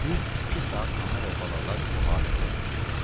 Düz iki saat ana və balalar bu halətdə oturmuşdular.